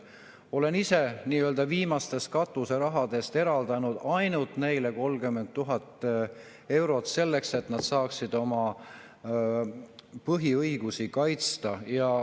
Olen ise viimastest katuserahadest eraldanud ainult neile 30 000 eurot selleks, et nad saaksid oma põhiõigusi kaitsta.